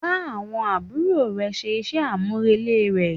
Bá àbúrò rẹ ṣe iṣẹ́ àmúrelé rẹ̀.